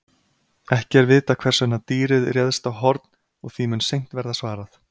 Ekki er vitað hvers vegna dýrið réðst á Horn og því mun seint verða svarað.